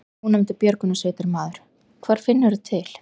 Ónefndur björgunarsveitarmaður: Hvar finnurðu til?